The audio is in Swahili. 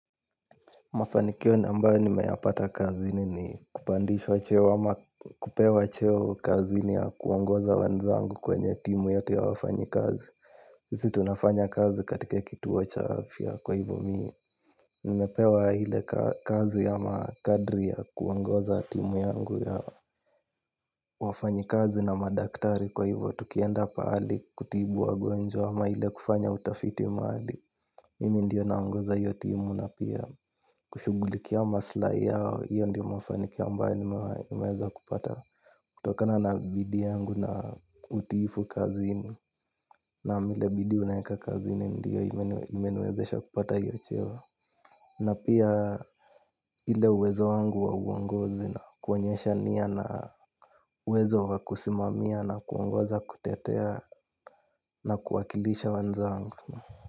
Mafanikio ambayo ni meyapata kazini ni kupandishwa cheo ama kupewa cheo kazi ni ya kuongoza wanzangu kwenye timu yote ya wafanyi kazi. Sisi tunafanya kazi katika kituo cha afya kwa hivyo mii nimepewa ile kazi ya makadri ya kuongoza timu yangu ya wafanyakazi na madaktari kwa hivyo tukienda pahali kutibu wagonjwa ama ile kufanya utafiti mahali. Mimi ndiyo naongoza hiyo timu na pia kushughulikia maslai yao hiyo ndio mafanikio ambayo nimeweza kupata kutokana na bidii yangu na utiifu kazini naam ile bidii unaweka kazini ndiyo imeni wezesha kupata iyo cheo. Na pia ile uwezo wangu wa uongozi na kuonyesha nia na uwezo wa kusimamia na kuongoza kutetea na kuwakilisha wenzangu.